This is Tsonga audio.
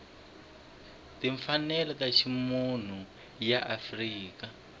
timfanelo ta ximunhu ya afrika